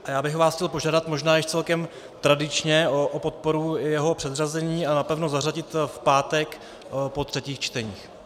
A já bych vás chtěl požádat, možná již celkem tradičně, o podporu jeho předřazení a napevno zařadit v pátek po třetích čteních.